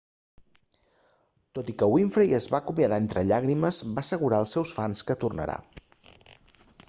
tot i que winfrey es va acomiadar entre llàgrimes va assegurar als seus fans que tornarà